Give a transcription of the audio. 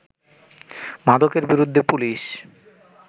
মাদকের বিরুদ্ধে পুলিশ